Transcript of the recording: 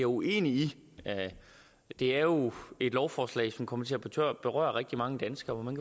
uenig i det er jo et lovforslag som kommer til at berøre rigtig mange danskere og